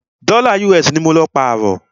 Dọ́là US ní mọ lọ pààrọ́.